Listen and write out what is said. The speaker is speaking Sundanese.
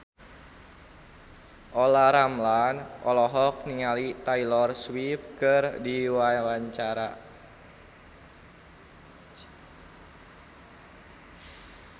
Olla Ramlan olohok ningali Taylor Swift keur diwawancara